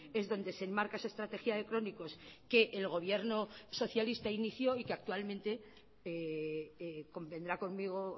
es donde se enmarca esa estrategia de crónicos que el gobierno socialista inició y que actualmente convendrá conmigo